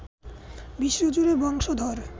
বিশ্বজুড়ে বংশধর